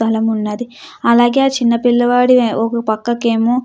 బలం ఉన్నది అలాగే హా చిన్నపిల్లాడి ఒక పక్కకేమో.